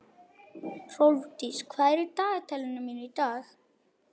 Hrólfdís, hvað er í dagatalinu mínu í dag?